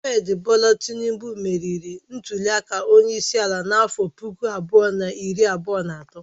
Ahmed Bola Tinubu meriri ntuliaka onyeisiala n'afọ puku abụọ na iri abụọ na atọ.